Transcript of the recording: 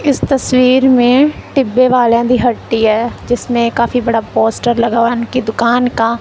इस तस्वीर में टिब्बे वालियां दी हट्टी है जिसमें काफी बड़ा पोस्टर लगा हुआ उनकी दुकान का।